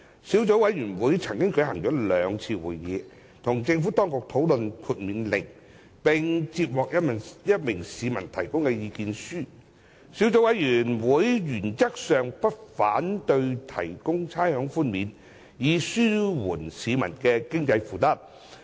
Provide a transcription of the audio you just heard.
小組委員會曾舉行兩次會議，與政府當局討論《命令》，並曾接獲一名市民的意見書。小組委員會原則上不反對提供差餉寬免，以紓緩市民的經濟負擔。